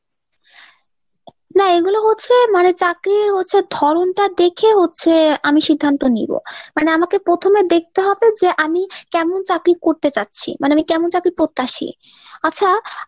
না এগুলো হচ্ছে মানে চাকরির হচ্ছে ধরণটা দেখে হচ্ছে আমি সিদ্ধান্ত নিবো। মানে আমাকে পোথমে দেখতে হবে যে আমি কেমন চাকরি করতে চাচ্ছি মানে, আমি কেমন চাকরির প্রত্যাশী। আচ্ছা আহ